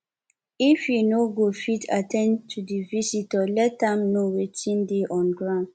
if you no go fit at ten d to di visitor let am know wetin dey on ground